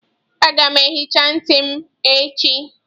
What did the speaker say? Aga m ehicha ntị m echi.